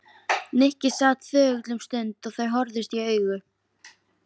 Nikki sat þögull um stund og þau horfðust í augu.